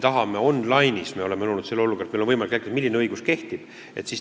Aga me oleme loonud selle olukorra, et meil on võimalik jälgida online'is, milline õigus kehtib.